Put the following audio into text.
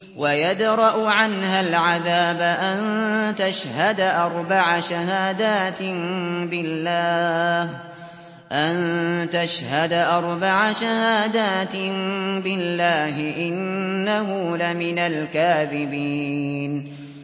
وَيَدْرَأُ عَنْهَا الْعَذَابَ أَن تَشْهَدَ أَرْبَعَ شَهَادَاتٍ بِاللَّهِ ۙ إِنَّهُ لَمِنَ الْكَاذِبِينَ